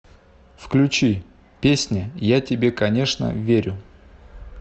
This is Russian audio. включи песня я тебе конечно верю